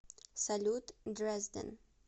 салют дрезден